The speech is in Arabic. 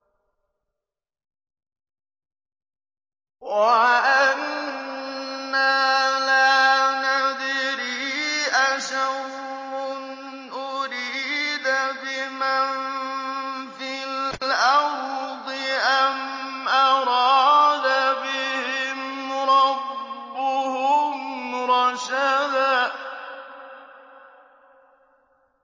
وَأَنَّا لَا نَدْرِي أَشَرٌّ أُرِيدَ بِمَن فِي الْأَرْضِ أَمْ أَرَادَ بِهِمْ رَبُّهُمْ رَشَدًا